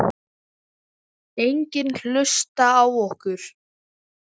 Enginn hlusta á okkur.